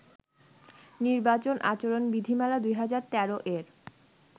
নির্বাচন আচরণ বিধিমালা-২০১৩ এর